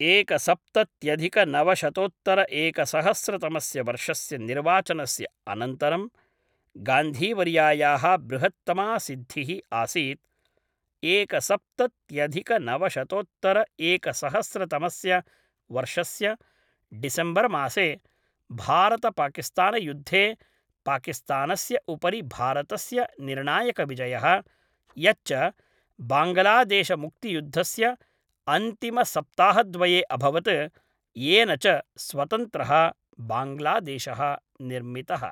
एकसप्तत्यधिकनवशतोत्तरएकसहस्रतमस्य वर्षस्य निर्वाचनस्य अनन्तरं गान्धीवर्यायाः बृहत्तमा सिद्धिः आसीत् एकसप्तत्यधिकनवशतोत्तरएकसहस्रतमस्य वर्षस्य डिसेम्बर् मासे भारतपाकिस्तानयुद्धे पाकिस्तानस्य उपरि भारतस्य निर्णायकविजयः, यच्च बाङ्गलादेशमुक्तियुद्धस्य अन्तिमसप्ताहद्वये अभवत्, येन च स्वतन्त्रः बाङ्ग्लादेशः निर्मितः।